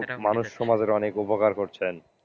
মানুষ সমাজের অনেক উপকার করছেন।